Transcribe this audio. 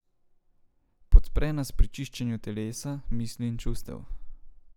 Podpre nas pri čiščenju telesa, misli in čustev.